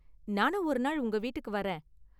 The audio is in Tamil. நானும் ஒரு நாள் உங்க வீட்டுக்கு வர்றேன்.